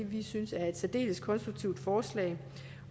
vi synes er et særdeles konstruktivt forslag